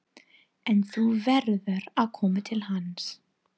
En þú verður að koma til hans.